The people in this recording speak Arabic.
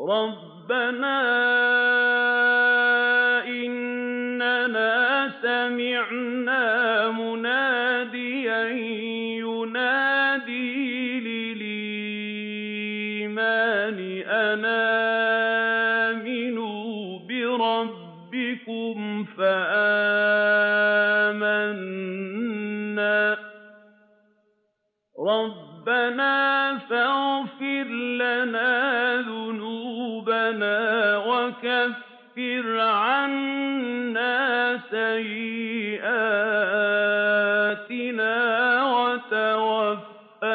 رَّبَّنَا إِنَّنَا سَمِعْنَا مُنَادِيًا يُنَادِي لِلْإِيمَانِ أَنْ آمِنُوا بِرَبِّكُمْ فَآمَنَّا ۚ رَبَّنَا فَاغْفِرْ لَنَا ذُنُوبَنَا وَكَفِّرْ عَنَّا سَيِّئَاتِنَا وَتَوَفَّنَا